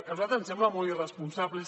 a nosaltres ens sembla molt irresponsable